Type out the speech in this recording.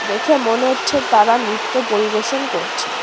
দেখে মনে হচ্ছে তারা নৃত্য পরিবেশন করছে।